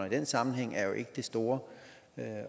i den sammenhæng er jo ikke det store